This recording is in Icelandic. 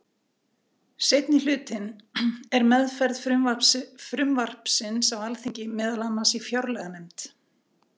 Seinni hlutinn er meðferð frumvarpsins á Alþingi, meðal annars í fjárlaganefnd.